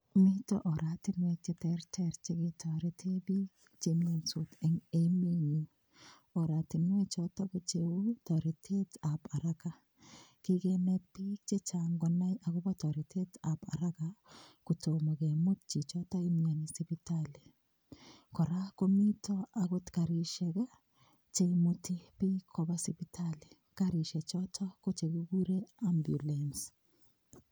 Mito oratinwek cheterter cheketorete biik chemionsot eng' emenyu oratinwe choto ko cheu toretetab haraka kikenet biik chechang' konai akobo toretetab haraka kotomo kemut chichoto imiyoni sipitali kora komito akot karishek cheimuti biik koba sipitali karishe choto ko chekikure ambulance